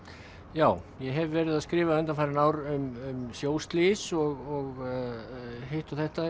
já ég hef verið að skrifa undanfarin ár um sjóslys og hitt og þetta